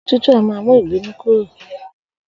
Òrò̩ tútù a máa mú ìbínú kúrò